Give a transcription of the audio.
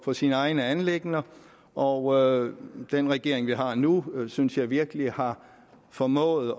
på sine egne anliggender og den regering vi har nu synes jeg virkelig har formået